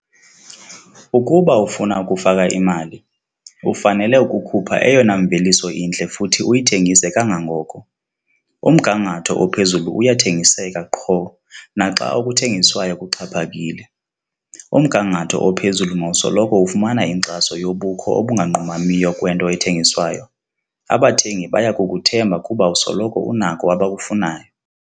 Ukuba ufuna ukufaka imali, ufanele ukukhupha eyona mveliso intle futhi uyithengise kangangoko. Umgangatho ophezulu uyathengiseka qho, naxa okuthengiswayo kuxhaphakile. Umgangatho ophezulu mawusoloko ufumana inkxaso yobukho obunganqumamiyo kwento ethengiswayo. Abathengi baya kukuthemba kuba usoloko unako abakufunayo.